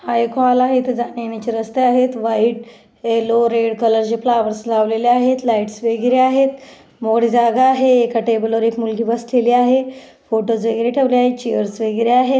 हा एक हॉल आहे इथे जाण्यायेण्याची रस्ते आहेत व्हाइट यल्लो रेड कलर चे फ्लॉवर्स लावलेले आहेत लाईट्स वगैरे आहेत मोकळी जागा आहे एका टेबलवर एक मुलगी बसलेली आहे फोटोज वगैरे ठेवले आहेत चेअर्स वगैरे आहे.